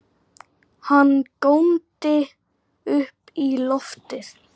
Hann góndi upp í loftið!